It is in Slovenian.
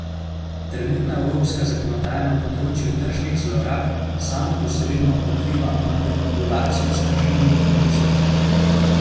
Trenutna evropska zakonodaja na področju tržnih zlorab samo posredno pokriva manipulacijo s tržnimi indeksi.